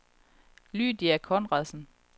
Lydia Conradsen